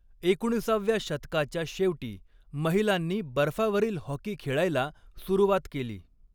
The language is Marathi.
एकोणिसाव्या शतकाच्या शेवटी महिलांनी बर्फावरील हॉकी खेळायला सुरुवात केली.